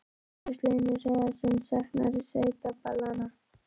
Magnús Hlynur Hreiðarsson: Saknarðu sveitaballanna?